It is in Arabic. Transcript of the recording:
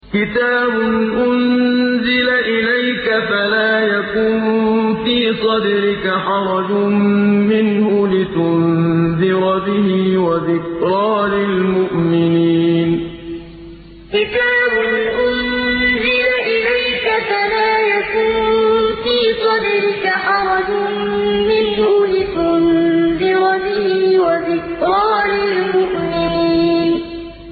كِتَابٌ أُنزِلَ إِلَيْكَ فَلَا يَكُن فِي صَدْرِكَ حَرَجٌ مِّنْهُ لِتُنذِرَ بِهِ وَذِكْرَىٰ لِلْمُؤْمِنِينَ كِتَابٌ أُنزِلَ إِلَيْكَ فَلَا يَكُن فِي صَدْرِكَ حَرَجٌ مِّنْهُ لِتُنذِرَ بِهِ وَذِكْرَىٰ لِلْمُؤْمِنِينَ